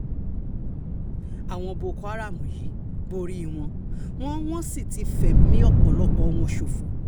àwọn boko haram yìí borí wọn wọn wọ́n sì ti fẹ̀mí ọ̀pọ̀lọpọ̀ wọn ṣòfò